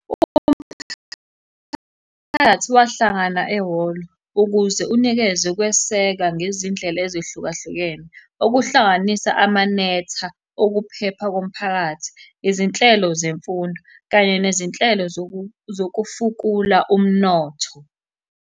wahlangana ehholo ukuze unikeze ukweseka ngezindlela ezehlukahlukene, okuhlanganisa amanetha okuphepha komphakathi, izinhlelo zemfundo, kanye nezinhlelo zokufukula umnotho.